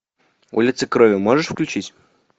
улица крови можешь включить